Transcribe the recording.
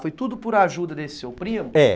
Foi tudo por ajuda desse seu primo? É.